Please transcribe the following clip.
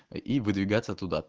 и выдвигаться туда